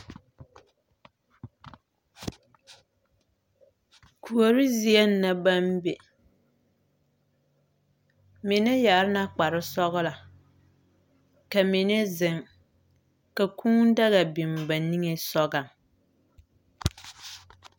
Kuori zieŋ na baŋ be. Mine yare na kparre sɔgelɔ, ka mine zeŋ kal kūū daga biŋ ba niŋeŋ sɔgaŋ.